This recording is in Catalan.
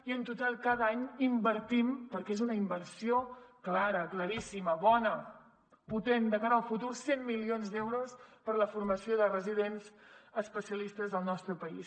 i en total cada any invertim perquè és una inversió clara claríssima bona potent de cara al futur cent milions d’euros per a la formació de residents especialistes al nostre país